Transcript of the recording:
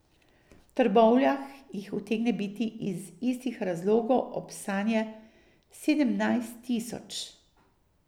V Trbovljah jih utegne biti iz istih razlogov ob sanje sedemnajst tisoč ...